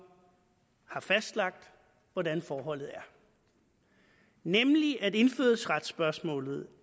har fastlagt hvordan forholdet er nemlig at indfødsretsspørgsmålet